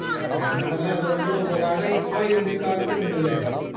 okay എന്താണെങ്കിലും അത് കൊണ്ടുള്ള ഉപകാരം ഇപ്പൊ ഇന്ത്യക്കാർക്ക് ഇണ്ട് ല്ലേ